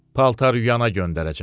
Paltaryuyana göndərəcəm.